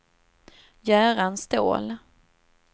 Göran Ståhl